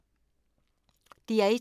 DR1